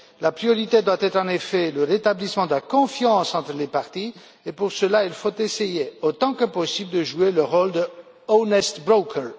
La priorité doit être, en effet, le rétablissement de la confiance entre les parties et, pour cela, il faut essayer, autant que possible, de jouer le rôle d' honest broker